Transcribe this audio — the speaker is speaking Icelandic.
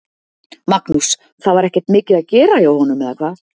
Magnús: Það var ekkert mikið að gera hjá honum, eða hvað?